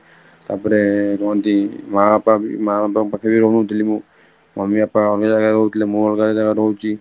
ତାପରେ କୁହନ୍ତି ମା ବାପା. ମା ବାପାଙ୍କ ପାଖରେ ରହୁନଥିଲି ମୁଁ mummy ବାପା ଅନ୍ୟ ଜାଗାରେ ରହୁଥିଲେ ମୁଁ ଅଲଗା ଜାଗାରେ ରହୁଛି